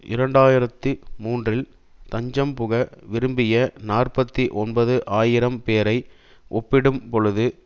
இரண்டு ஆயிரத்தி மூன்றில் தஞ்சம்புக விரும்பிய நாற்பத்தி ஒன்பது ஆயிரம் பேரை ஒப்பிடும்பொழுது